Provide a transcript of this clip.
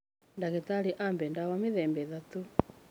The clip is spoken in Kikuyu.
Ndagĩtarĩ ahe ndawa mĩthemba ĩtatũ.